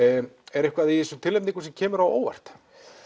er eitthvað í þessum tilnefningum sem kemur á óvart